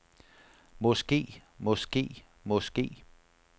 måske måske måske